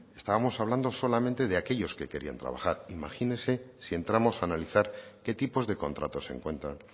estábamos hablando solamente de aquellos que querían trabajar imagínese si entramos a analizar qué tipos de contratos se encuentran